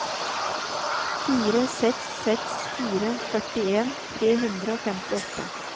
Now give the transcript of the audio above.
fire seks seks fire førtien tre hundre og femtiåtte